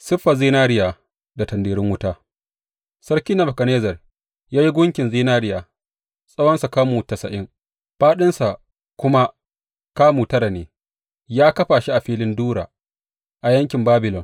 Siffar zinariya da tanderun wuta Sarki Nebukadnezzar ya yi gunkin zinariya, tsawonsa kamu tasa’in, fāɗinsa kuma kamu tara ne, ya kafa shi a filin Dura a yankin Babilon.